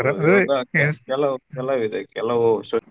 ಕೆಲವು ಕೆಲವಿದೆ ಕೆಲವು ಸ.